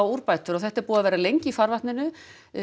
úrbótum og þetta er búið að vera lengi í farvatninu